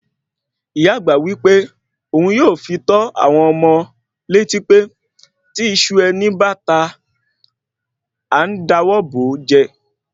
Ìyá àgbà wí pé ohun yóò fi tó àwọn ọmọ létí pé tí iṣu ẹni báta àá dọwọ́ bo jẹ́